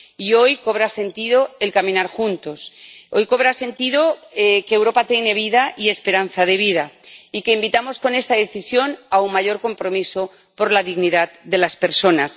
Y hoy cobra sentido el caminar juntos, hoy cobra sentido que Europa tiene vida y esperanza de vida, y que invitamos con esta decisión a un mayor compromiso por la dignidad de las personas.